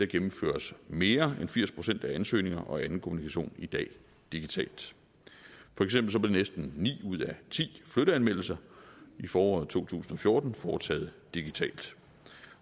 gennemføres mere end firs procent af ansøgninger og anden kommunikation i dag digitalt for eksempel blev næsten ni ud af ti flytteanmeldelser i foråret to tusind og fjorten foretaget digitalt